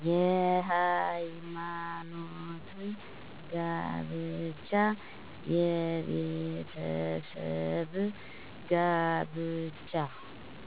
የሀይማኖት ጋብቻ፣ የቤተሰብ ጋብቻ